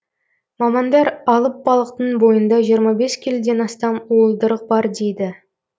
мамандар алып балықтың бойында жиырма бес келіден астам уылдырық бар дейді